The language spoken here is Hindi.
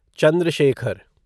चंद्र शेखर